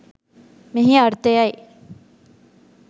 මෙහි අර්ථය යි.